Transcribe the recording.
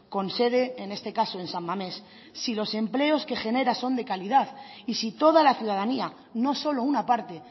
con sede en este caso en san mamés si los empleos que genera son de calidad y si toda la ciudadanía no solo una parte